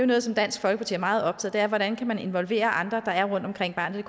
noget som dansk folkeparti er meget optaget af hvordan kan man involvere andre der er rundtomkring barnet